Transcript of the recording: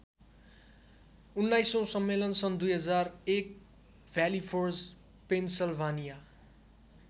उन्नाइसौँ सम्मेलन सन् २००१ भ्याली फोर्ज पेन्सलभानिया।